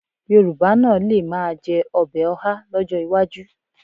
Yorùbá náà lè máa jẹ ọbẹ̀ ọhá lọ́jọ́ iwájú